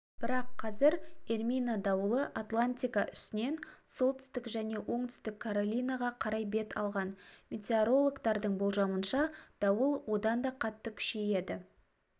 бірақ қазір эрмина дауылы атлантика үстінен солтүстік және оңтүстік каролинаға қарай бет алған метеорологтардың болжамынша дауыл одан да қатты күшейеді